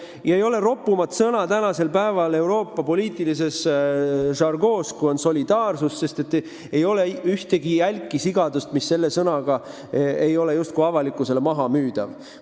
Ja ei ole ropumat sõna tänasel päeval Euroopa poliitilises žargoonis, kui on solidaarsus, sest ei ole ühtegi jälki sigadust, mis selle sõna varjus ei ole avalikkusele maha müüdav.